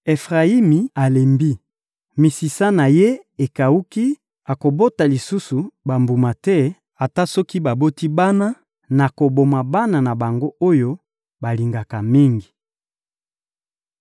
Efrayimi alembi, misisa na ye ekawuki; akobota lisusu bambuma te; ata soki baboti bana, nakoboma bana na bango oyo balingaka mingi.